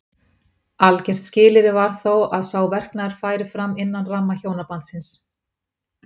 Algert skilyrði var þó að sá verknaður færi fram innan ramma hjónabandsins.